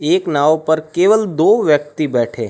एक नाव पर केवल दो व्यक्ति बैठे--